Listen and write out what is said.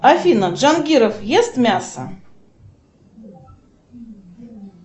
афина джангиров ест мясо